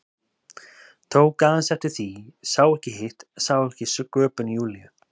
Tók aðeins eftir því, sá ekki hitt, sá ekki sköpun Júlíu.